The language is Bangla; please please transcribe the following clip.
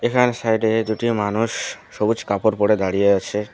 এখানে সাইডে দুটি মানুষ সবুজ কাপড় পরে দাঁড়িয়ে আছে।